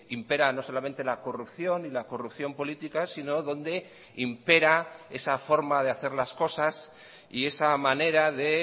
imperan no solamente la corrupción y la corrupción política sino donde impera esa forma de hacer las cosas y esa manera de